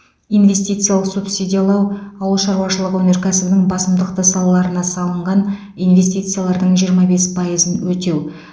инвестициялық субсидиялау ауыл шаруашылығы өнеркәсібінің басымдықты салаларына салынған инвестициялардың жиырма бес пайызын өтеу